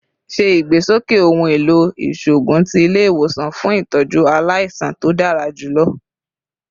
Ṣe igbesoke ohun elo iṣoogun ti ile-iwosan fun itọju alaisan to dara julọ